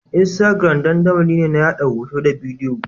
Instagram dandamali ne na yaɗa hoto da bidiyo.